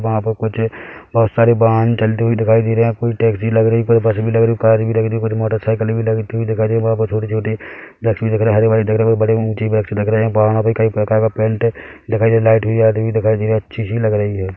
वहाँ पे कुछ है बहोत सारे वाहन चलते हुए दिखाई दे रहे है कोई टैक्सी लग रही कोई बस भी लग रही है कार भी लग रही है कुछ मोटरसाइकील भी लगती हुई दिखाई दे रही है वहाँ पर छोटी-छोटी वृक्ष दिख रहे हरे-भरे दिख रहे है बड़े ऊचे वृक्ष लग रहे है पहाड़ों पे कई प्रकार का पेंट दिखाई दे रहा है लाइट भी आती हुई दिखाई दे रही अच्छी सी लग रही है।